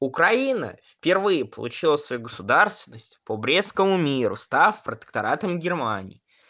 украина впервые получила свою государственность по брестскому миру став протекторатом германии